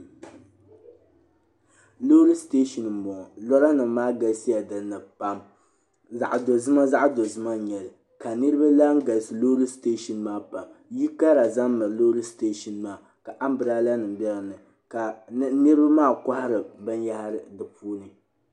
Lɔɔri. siteshin n bɔŋɔ lɔɔri nim maa galisiya dini pam, zaɣidozima zaɣidozima n nyɛli ka nirilaŋ galisi lɔɔri siteshin maa pam, yili kara ʒɛ. n. miri lɔɔri ste shin maa ka am brelanim be dini ka niribi maa kohiri bɛn yahiri di puuni